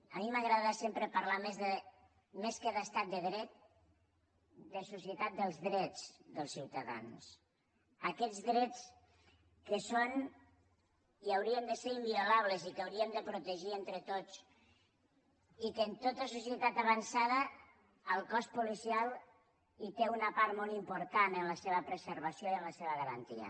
a mi m’agrada sempre parlar més que d’estat de dret de societat dels drets dels ciutadans aquests drets que són i haurien de ser inviolables i que hauríem de protegir entre tots i que en tota societat avançada el cos policial té una part molt important en la seva preservació i en la seva garantia